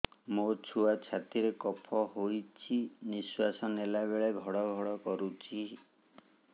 ମୋ ଛୁଆ ଛାତି ରେ କଫ ହୋଇଛି ନିଶ୍ୱାସ ନେଲା ବେଳେ ଘଡ ଘଡ କରୁଛି